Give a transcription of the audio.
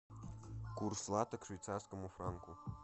курс лата к швейцарскому франку